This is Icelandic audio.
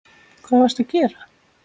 Hvað varstu að gera?